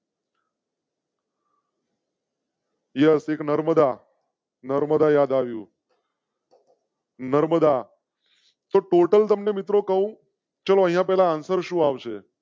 યહ સિક નર્મદા નર્મદા યાદ આવ્યું. નર્મદા ટોટલ તમ ને મિત્રો કહો. ચાલો અહીંયા પેલા answer સુઆવશે